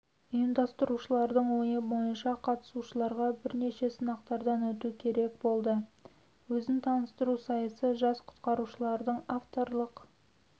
ұйымдастырушылардың ойы бойынша қатысушыларға бірнеше сынақтардан өту керек болды өзін таныстыру сайысы жас құтқарушылардың авторлық